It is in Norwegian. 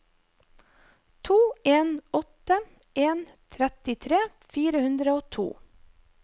to en åtte en trettitre fire hundre og to